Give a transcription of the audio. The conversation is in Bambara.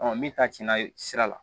min ta cɛna sira la